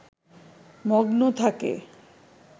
মগ্ন থাকে